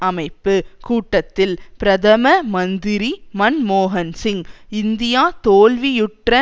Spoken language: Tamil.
அமைப்பு கூட்டத்தில் பிரதம மந்திரி மன்மோகன் சிங் இந்தியா தோல்வியுற்ற